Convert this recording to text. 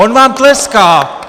On vám tleská.